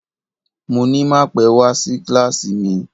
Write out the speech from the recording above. Mo ní má pẹ́ wá sí kíláàsì mi